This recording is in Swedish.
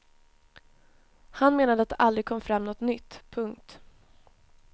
Han menade att det aldrig kom fram något nytt. punkt